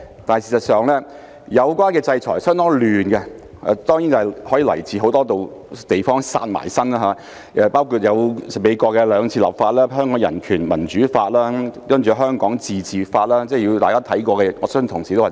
但事實上，有關的制裁相當混亂，當然是因很多地方"殺埋身"，包括美國兩次立法，即《香港人權與民主法案》及《香港自治法案》，我相信未必有太多同事看過。